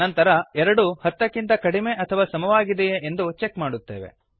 ನಂತರ ಎರಡು ಹತ್ತಕ್ಕಿಂತ ಕಡಿಮೆ ಅಥವಾ ಸಮವಾಗಿದೆಯೇ ಎಂದು ಚೆಕ್ ಮಾಡುತ್ತೇವೆ